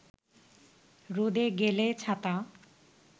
রোদে গেলে ছাতা